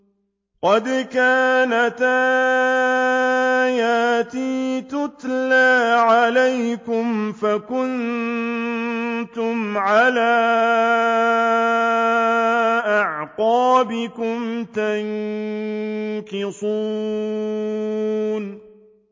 قَدْ كَانَتْ آيَاتِي تُتْلَىٰ عَلَيْكُمْ فَكُنتُمْ عَلَىٰ أَعْقَابِكُمْ تَنكِصُونَ